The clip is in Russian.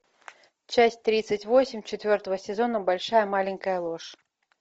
часть тридцать восемь четвертого сезона большая маленькая ложь